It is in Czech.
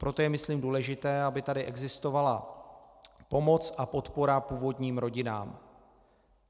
Proto je myslím důležité, aby tady existovala pomoc a podpora původním rodinám.